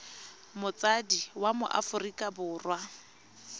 motsadi wa mo aforika borwa